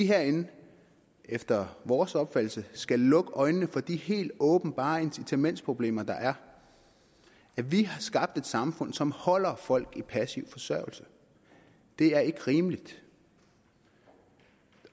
herinde efter vores opfattelse skal lukke øjnene for de helt åbenbare incitamentproblemer der er vi har skabt et samfund som holder folk på passiv forsørgelse det er ikke rimeligt